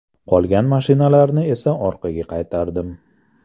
Qolgan mashinalarni esa orqaga qaytardim.